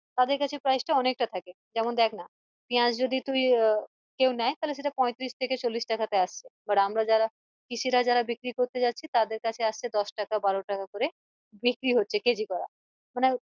তাদের কাছে price টা অনেকটা থাকে যেমন দেখ না পিয়াজ যদি তুই আহ কেউ নেই তালে সেটা পৈতিরিশ থেকে চল্লিশ টাকা তে আসবে but আমরা যারা কৃষিরা যারা বিক্রি করতে যাচ্ছে তাদের কাছে আসছে দশ টাকা বারো টাকা করে বিক্রি হচ্ছে কেজি করে মানে